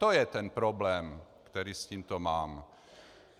To je ten problém, který s tímto mám.